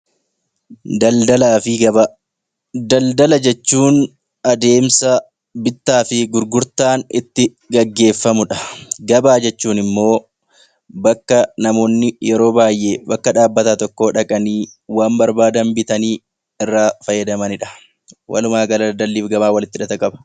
Daldalaa fi gabaa. Daldala jechuun adeemsa bittaa fi gurgurtaan itti gaggeeffamudha. Gabaa jechuun immoo bakkaa namoonni yeroo baay'ee bakka dhaabbataa tokko dhaqanii waan barbaadan bitanii irraa fayyadamanidha. Walumaa gala daldalliif gabaan walitti hidhata qaba.